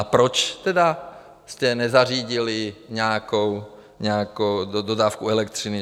A proč tedy jste nezařídili nějakou dodávku elektřiny?